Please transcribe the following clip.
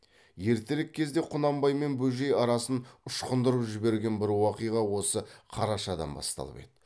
ертерек кезде құнанбай мен бөжей арасын ұшқындырып жіберген бір уақиға осы қарашадан басталып еді